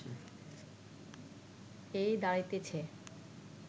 এই দাঁড়াইতেছে